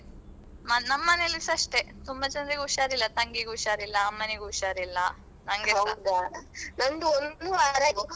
ನಮ್ಮನೆಯಲ್ಲಿ ಸ ಅಷ್ಟೇ ತುಂಬಾ ಜನರಿಗೆ ಹುಷಾರಿಲ್ಲಾ ತಂಗಿಗು ಹುಷಾರಿಲ್ಲಾ ಅಮ್ಮನಿಗು ಹುಷಾರಿಲ್ಲಾ ನಂಗೆ ಸ.